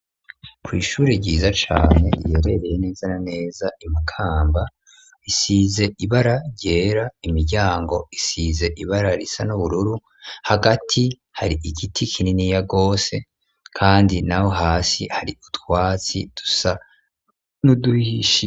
Kw'ishure ryiza cane riherereye neza na neza imakamba isize ibara gera imiryango isize ibara risa n'ubururu hagati hari igiti kinini ya gose kandi naho hasi hari utwatsi dusa n'uduhishiye.